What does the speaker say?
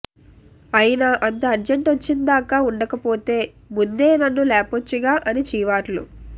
అయినా అంత అర్జంట్ వచ్చిందాకా ఉండకపోతే ముందే నన్ను లేపొచ్చుగా అని చీవాట్లు